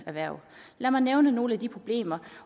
erhverv lad mig nævne nogle af de problemer